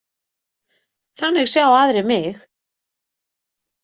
Þannig sjá aðrir mig.